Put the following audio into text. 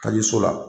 Ka di so la